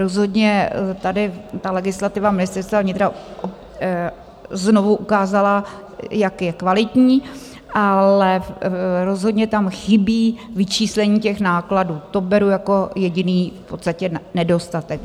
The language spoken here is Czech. Rozhodně tady ta legislativa Ministerstva vnitra znovu ukázala, jak je kvalitní, ale rozhodně tam chybí vyčíslení těch nákladů, to beru jako jediný v podstatě nedostatek.